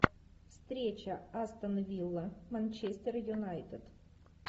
встреча астон вилла манчестер юнайтед